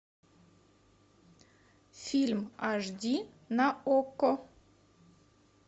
фильм аш ди на окко